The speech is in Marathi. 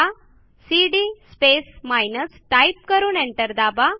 आता सीडी स्पेस माइनस टाईप करून एंटर दाबा